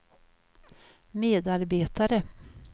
medarbetare